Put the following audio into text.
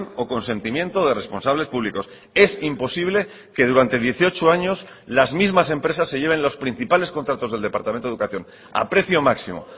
o consentimiento de responsables públicos es imposible que durante dieciocho años las mismas empresas se lleven los principales contratos del departamento de educación a precio máximo